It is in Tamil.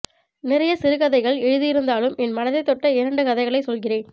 நிறைய சிறுகதைகள் எழுதியிருந்தாலும் என் மனதை தொட்ட இரண்டு கதைகளை சொல்கிறேன்